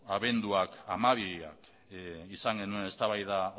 abenduaren hamabian izan genuen eztabaida